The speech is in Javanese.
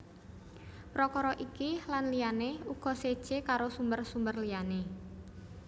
Prakara iki lan liyané uga séjé karo sumber sumber liyané